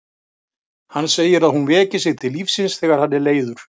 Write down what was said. Hann segir að hún veki sig til lífsins þegar hann er leiður.